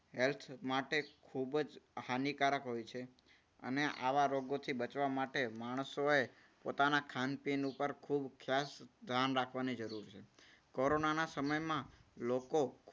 health માટે ખૂબ જ હાનિકારક હોય છે. અને આવા રોગથી બચવા માટે માણસોએ પોતાના ખાંન પીન ઉપર ખૂબ ખાસ ધ્યાન રાખવાની જરૂર છે. કોરોનાના સમયમાં લોકો